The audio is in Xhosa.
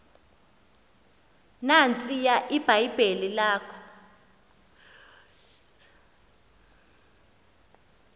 nantsiya ibhayibhile yakho